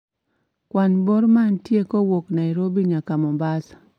Kwan bor mantie kowuok Nairobi nyaka Mombasa